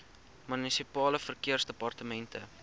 munisipale verkeersdepartemente